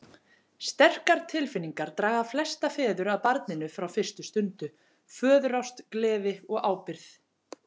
Sterkar tilfinningar draga flesta feður að barninu frá fyrstu stundu, föðurást, gleði og ábyrgð.